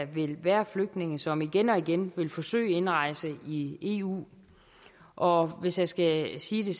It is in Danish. vil være flygtninge som igen og igen vil forsøge indrejse i eu og hvis jeg skal sige det